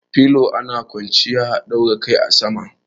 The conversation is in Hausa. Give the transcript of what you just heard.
Filo ana kwanciya a daura kai a sama.